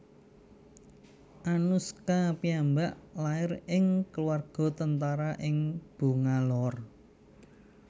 Anuskha piyambak lair ing kaluarga tentara ing Bangalore